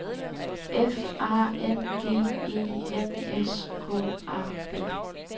F A N G E N S K A B